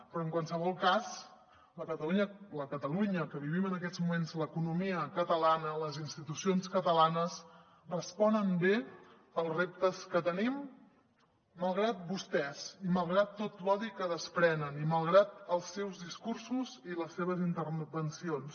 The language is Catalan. però en qualsevol cas la catalunya que vivim en aquests moments l’economia catalana les institucions catalanes respon bé als reptes que tenim malgrat vostès i malgrat tot l’odi que desprenen i malgrat els seus discursos i les seves intervencions